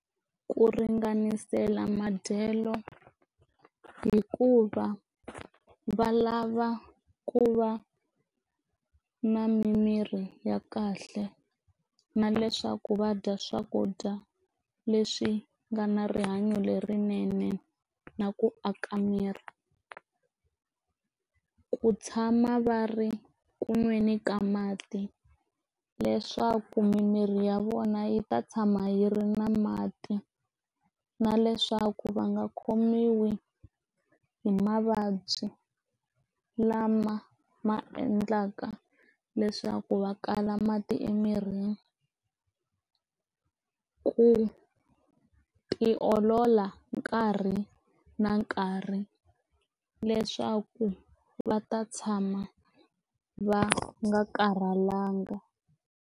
Ku ringanisela madyelo hikuva va lava ku va na mimiri ya kahle na leswaku va dya swakudya leswi nga na rihanyo lerinene na ku aka miri, ku tshama va ri kunweni ka mati leswaku mimiri ya vona yi ta tshama yi ri na mati na leswaku va nga khomiwi hi mavabyi lama ma endlaka leswaku va kala mati emirini ku tiolola nkarhi na nkarhi leswaku va ta tshama va nga karhalangi.